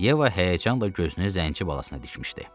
Yeva həyəcanla gözünü zənçi balasına dikmişdi.